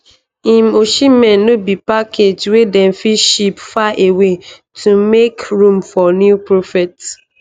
im osimhen no be package wey dem fit ship far away to make room for new prophets